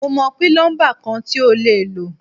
Mo mọ̀ pílọ́ḿbà kan tí o lè lò.